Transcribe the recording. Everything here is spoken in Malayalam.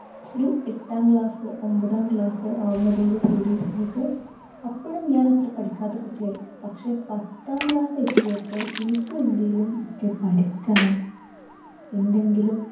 ഒരു എട്ടാം class ഒൻപതാം class ആവുന്നതോടു കൂടി എനിക്ക് അപ്പോഴും ഞാൻ അത്ര പഠിക്കാത്ത കുട്ടിയായി. പക്ഷെ പത്താം class എത്തിയപ്പപ്പോൾ എനിക്കും എന്തെങ്കിലുമൊക്കെ പഠിക്കണം. എന്തെങ്കിലും